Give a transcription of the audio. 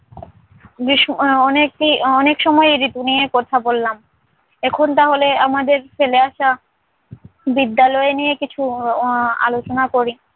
গ্রীষ্ম অনেকে~ অনেক সময় এই ঋতু নিয়ে কথা বললাম, এখন তাহলে আমাদের ফেলে আসা বিদ্যালয় নিয়ে কিছু আহ আলোচনা করি।